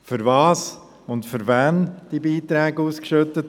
Für was und für wen wurden diese Beiträge ausgeschüttet?